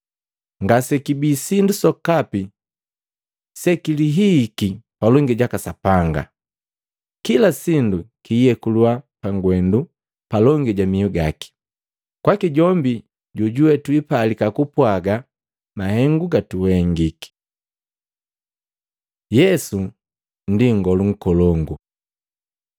Ngasekibii sindu sokapi sekilihihiki palongi jaka Sapanga; kila sindu kiyekuliwa pangwendu palongi ja miu gaki, kwaki jombi jojuwe twiipalika kupwaga mahengu gatuhengiki. Yesu ndi Nngolu Nkolongu